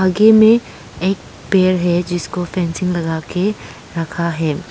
आगे मे एक पेड़ है जिसको फेंसिंग लगा के रखा है।